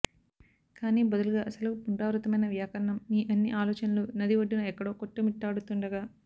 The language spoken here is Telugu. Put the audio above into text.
కానీ బదులుగా సెలవు పునరావృతమైన వ్యాకరణం మీ అన్ని ఆలోచనలు నది ఒడ్డున ఎక్కడో కొట్టుమిట్టాడుతుండగా